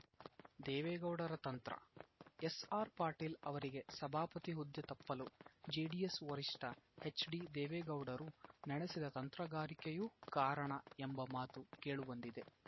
ದೇವೇಗೌಡರ ತಂತ್ರ ಎಸ್‌ಆರ್‌ಪಾಟೀಲ್‌ ಅವರಿಗೆ ಸಭಾಪತಿ ಹುದ್ದೆ ತಪ್ಪಲು ಜೆಡಿಎಸ್‌ ವರಿಷ್ಠ ಎಚ್‌ಡಿದೇವೇಗೌಡರು ನಡೆಸಿದ ತಂತ್ರಗಾರಿಕೆಯೂ ಕಾರಣ ಎಂಬ ಮಾತೂ ಕೇಳು ಬಂದಿದೆ